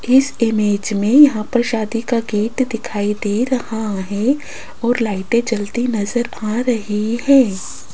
इस इमेज में यहां पर शादी का गेट दिखाई दे रहा है और लाइटें जलती नजर आ रही है।